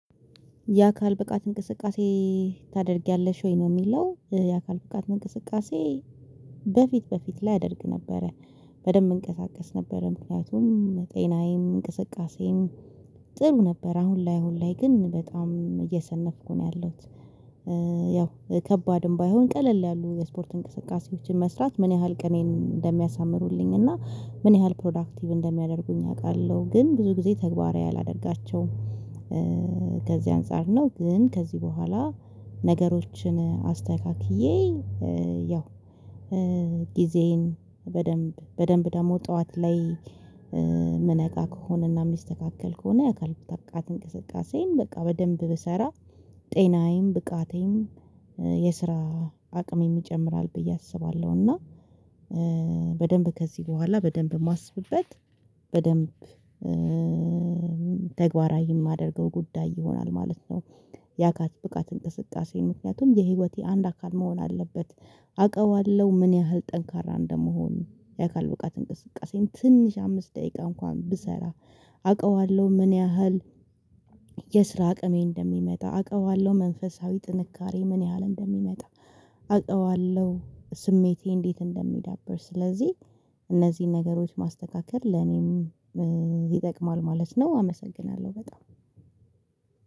የአካል ብቃት እንቅስቃሴ ታደርጊያለሽ ወይ ነው የሚለው? የአካል ብቃት እንቅስቃሴ በፊት በፊት ላይ አደርግ ነበረ በደንብ እንቀሳቀስ ነበረ ምክንያቱም ጤናዬም እንቅስቃሴም ጥሩ ነበር። አሁን ላይ አሁን ላይ ግን በጣም እየሰነፍኩ ነው ያለሁት። ያው ከባድም ባይሆን ቀለል ያሉ የስፖርት እንቅስቃሴዎችን መስራት ምን ያህል ቅኔን እንደሚያሳምሩልኝ እና ምን ያህል ፕሮዳክቲቭ እንደሚያደርገኝ አውቃለሁ ግን ብዙ ጊዜ ተግባራዊ አላደርጋቸውም። ከዚህ አንፃር ነው ግን ከዚህ በኋላ ነገሮችን አስተካክዬ ያው ጊዜዬን በደንብ በደንብ ደግሞ ጠዋት ላይ የምነቃ ከሆነና የሚስተካከል ከሆነ የአካል ብቃት እንቅስቃሴን በቃ በደንብ ብሰራ ጤናዬም ብቃቴም የስራ አቅሜም ይጨምራል ብዬ አስባለሁ እና በደንብ ከዚህ በኋላ በደንብ የማስብበት በደንብ ተግባራዊ የማደርገው ጉዳይ ይሆናል ማለት ነው። ያካል ብቃት እንቅስቃሴ ምክንያቱም የህይወቴ አንድ አካል መሆን አለበት። አውቀዋለሁ ምን ያህል ጠንካራ እንደምሆን የአካል ብቃት እንቅስቃሴን ትንሽ አምስት ደቂቃ እንኳን ብሰራ። አውቀዋለሁ ምን ያህል የስራ አቅሜ እንደሚመጣ አውቀዋለሁ። መንፈሳዊ ጥንካሬ ምን ያህል እንደሚመጣ አውቀዋለሁ ስሜቴ እንዴት እንደሚዳበር ስለዚህ። እነዚህን ነገሮች ማስተካከል ለኔም ይጠቅማል ማለት ነው። አመሰግናለሁ በጣም።